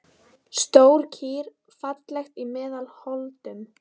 Stór kýr, falleg í meðal holdum.